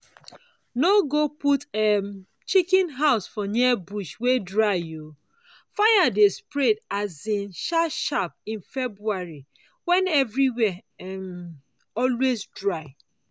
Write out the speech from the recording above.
no go put um chicken house for near bush wey dry o—fire dey spread um sharp sharp in february when everywhere dey um always dry.